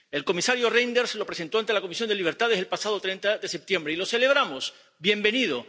El comisario Reynders lo presentó ante la Comisión de Libertades el pasado 30 de septiembre y lo celebramos bienvenido.